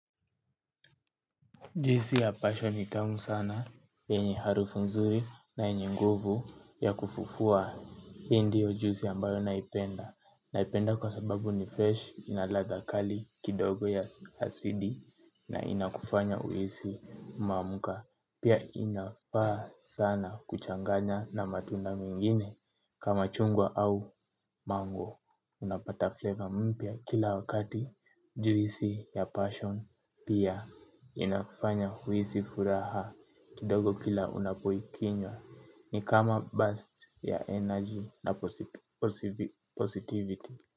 Juhisi ya passion nitamu sana enye harufu nzuri na enye nguvu ya kufufua hindiyo juisi ambayo naipenda. Naipenda kwa sababu ni fresh inaladhakali kidogo ya hasidi na inakufanya uhisi umamuka. Pia inafaa sana kuchanganya na matunda mingine kama chungwa au mango. Unapata flavor mpya kila wakati juisi ya passion pia inakufanya huisi furaha kidogo kila unapoikinywa ni kama burst ya energy na positivity.